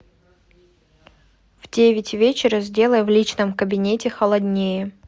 в девять вечера сделай в личном кабинете холоднее